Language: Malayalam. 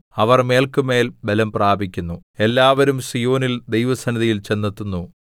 അവർ മേല്ക്കുമേൽ ബലം പ്രാപിക്കുന്നു എല്ലാവരും സീയോനിൽ ദൈവസന്നിധിയിൽ ചെന്നെത്തുന്നു